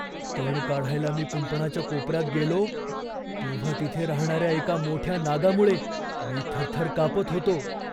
तण काढायला मी कुंपणाच्या कोपऱ्यात गेलो तेव्हा तिथे राहणाऱ्या एका मोठ्या नागामुळे मी थरथर कापत होतो.